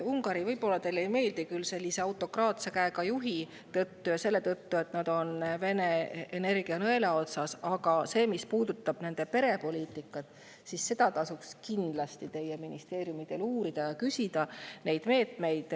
Ungari võib teile küll mitte meeldida oma autokraatse käega juhi tõttu ja selle tõttu, et nad on Vene energianõela otsas, aga seda, mis puudutab nende perepoliitikat, tasuks teie ministeeriumidel kindlasti uurida, küsida nende meetmete kohta.